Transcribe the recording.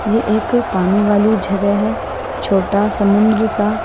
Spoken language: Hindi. ये एक पानी वाली जगह है छोटा समुंद्र सा--